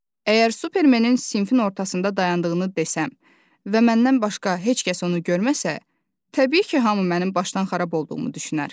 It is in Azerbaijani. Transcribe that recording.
Əgər Supermenin sinfin ortasında dayandığını desəm və məndən başqa heç kəs onu görməsə, təbii ki, hamı mənim başdan xarab olduğumu düşünər.